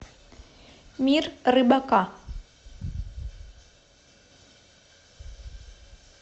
мир рыбака